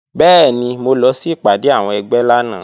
Bẹ́ẹ̀ni, mo lọ sí ìpàdé àwọn ẹgbẹ́ lánàá